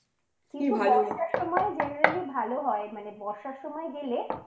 বর্ষার সময় generally ভালো হয় মানে বর্ষার সময় গেলে ওই